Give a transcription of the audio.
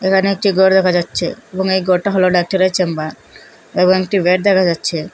এখানে একটি গর দেখা যাচ্ছে এবং এই গরটা হলো ডাক্তারের চেম্বার এবং একটি বেড দেখা যাচ্ছে।